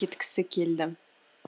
кеткісі келді